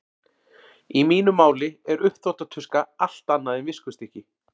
Í mínu máli er uppþvottatuska allt annað en viskustykki.